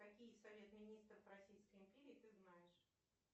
какие совет министров российской империи ты знаешь